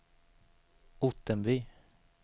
Ottenby